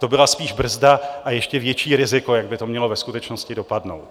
To byla spíš brzda a ještě větší riziko, jak by to mělo ve skutečnosti dopadnout.